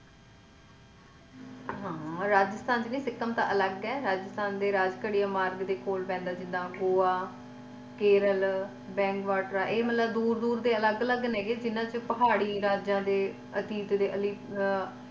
ਹਾਂ ਰਾਜਸਥਾਨ ਚ ਨਹੀਂਸਿਕਕਿੱਮ ਤਾ ਅਲੱਗ ਆ ਰਾਜਸਥਾਨ ਦੇ ਰਾਜ ਘਰਿਆ ਮਾਰਗ ਦੇ ਕੋਲ ਪੈਂਦਾ ਜਿੱਦਾਂ ਗੋਆ ਕੇਰਲ ਬੇਂਗਵਾਤ੍ਰਾ ਇਹ ਮਤਲੱਬ ਦੂਰ ਦੂਰ ਦੇ ਅਲੱਗ ਅਲੱਗ ਨੇਗੇ ਜਿਹਨਾਂ ਚ ਪਹਾੜੀ ਰਾਜਿਆਂ ਅਤੀਤ ਆ।